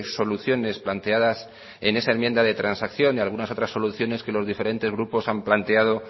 soluciones planteadas en esa enmienda de transacción y algunas otras soluciones que los diferentes grupos han planteado